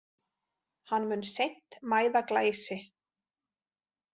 Hann mun seint mæða Glæsi.